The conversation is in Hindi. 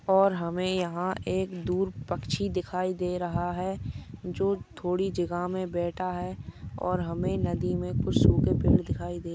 और हमे यहा एक दूर पक्षी दिखाई दे रहा है जो थोड़ी जगह मे बैठा है और हमे नदी मे कुछ सूखे पेड दिखाई दे रहे है।